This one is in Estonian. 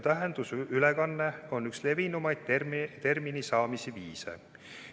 Tähenduse ülekanne on üks levinumaid termini saamise viise.